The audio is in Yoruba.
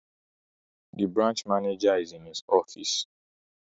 The branch managwer is in his office